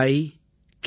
yuvika